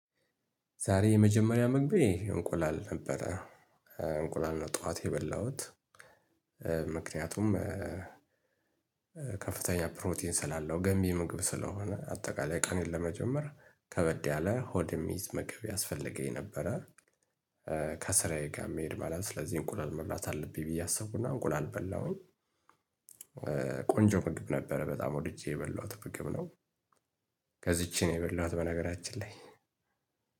ዛሬ የመጀመሪያ ምግቤ እንቁላል ነበረ እንቁላል ነው ጠዋት የበላሁት። ምክንያቱም ከፍተኛ ፕሮቲን ስላለው ገንቢ ምግብ ስለሆነ አጠቃላይ ቀኔን ለመጀመር ከበድ ያለ ሆድ መገብ ያስፈልገኝ ነበረ። ከስራዬ ጋር መሄድ ማለት ስለዚህ እንቁላል መብላት አለብኝ ብዬ አሰብኩ እና እንቁላል በላሁኝ። ቆንጆ ምግብ ነበረ በጣም ወድጄ የበሏት ምግብ ነው። ከዚችን የበሏት በነገራችን ላይ